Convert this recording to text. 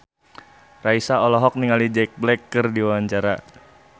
Raisa olohok ningali Jack Black keur diwawancara